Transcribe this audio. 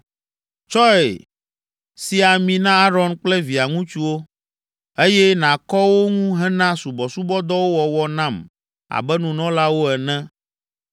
“Tsɔe si ami na Aron kple via ŋutsuwo, eye nàkɔ wo ŋu hena subɔsubɔdɔwo wɔwɔ nam abe nunɔlawo ene.